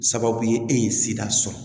Sababu ye e ye sida sɔrɔ